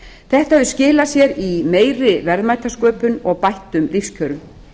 þetta hefur skilað sér í meiri verðmætasköpun og bættum lífskjörum